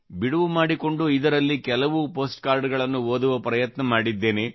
ಬಿಡುವು ಮಾಡಿಕೊಂಡು ಇದರಲ್ಲಿ ಹಲವಾರು ಪೋಸ್ಟ್ ಕಾರ್ಡಗಳನ್ನು ಓದುವ ಪ್ರಯತ್ನ ಮಾಡಿದ್ದೇನೆ